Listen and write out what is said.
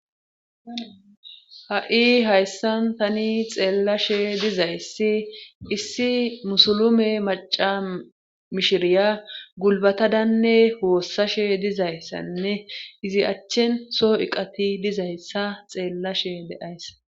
Ha'i hayssan tani xeellashe dizayssi issi musulume maca mishiriya gulbatadanne hoossashe dizayssanne izi achchen soo iqati dizayssa xeellashe deayssa